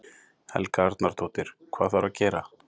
Helga Arnardóttir: Hvað þarf að gera?